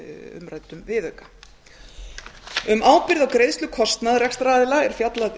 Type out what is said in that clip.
umræddum viðauka um ábyrgð á greiðslu kostnaðar rekstraraðila er fjallað